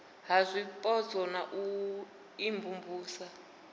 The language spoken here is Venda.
ha zwipotso na u imvumvusa